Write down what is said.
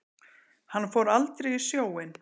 Hann fór aldrei í sjóinn.